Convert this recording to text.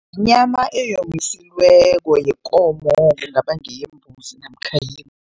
Yinyama eyomisiweko yekomo, kungaba ngeyembuzi namkha